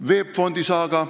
VEB Fondi saaga.